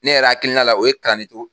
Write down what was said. Ne yɛrɛ hakilina la o ye ka ne to.